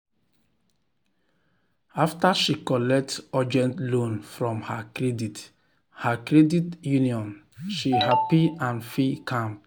after she collect urgent loan from her credit her credit union she happy and feel calm.